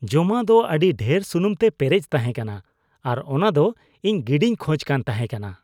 ᱡᱚᱢᱟᱜ ᱫᱚ ᱟᱹᱰᱤ ᱰᱷᱮᱨ ᱥᱩᱱᱩᱢᱛᱮ ᱯᱮᱨᱮᱡ ᱛᱟᱦᱮᱸ ᱠᱟᱱᱟ ᱟᱨ ᱚᱱᱟ ᱫᱚ ᱤᱧ ᱜᱤᱰᱤᱧ ᱠᱷᱚᱡ ᱠᱟᱱ ᱛᱟᱦᱮᱸᱠᱟᱱᱟ ᱾